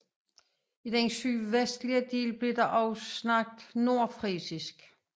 I den sydvestlige del blev der også talt nordfrisisk